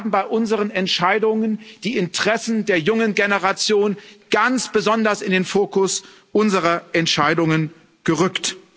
Wir haben bei unseren Entscheidungen die Interessen der jungen Generation ganz besonders in den Fokus unserer Entscheidungen gerückt.